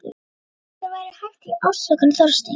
Hvað ef eitthvað væri hæft í ásökunum Þorsteins?